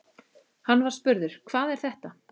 Hann var spurður: Hvað er þetta?